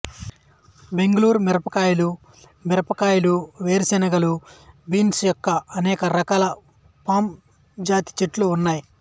బెంగూళూరు మిరపకాయలు మిరపకాయలు వేరుశెనగలు బీన్స్ యుక్కా అనేక రకాల పామ్ జాతి చెట్లు ఉన్నాయి